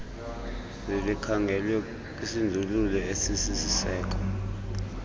zlikhangelwe kwisindululo esisisiseko